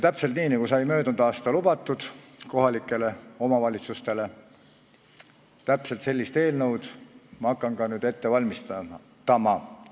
Ja nii, nagu sai möödunud aastal kohalikele omavalitsustele lubatud, täpselt sellist eelnõu ma hakkan nüüd ka ette valmistama.